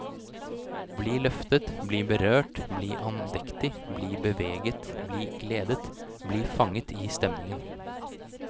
Bli løftet, bli berørt, bli andektig, bli beveget, bli gledet, bli fanget i stemningen.